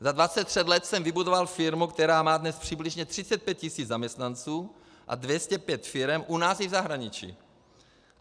Za 23 let jsem vybudoval firmu, která má dnes přibližně 35 tisíc zaměstnanců a 205 firem u nás i v zahraničí.